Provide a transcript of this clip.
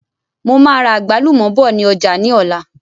Mo máa ra àgbálùmọ̀ bọ̀ ni ọjà ni ọ̀la.